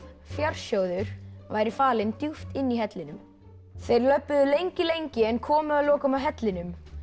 fjársjóður væri falinn djúpt inni í hellinum þeir löbbuðu lengi lengi en komu að lokum að hellinum